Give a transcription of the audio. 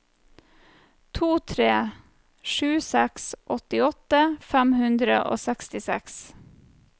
to tre sju seks åttiåtte fem hundre og sekstiseks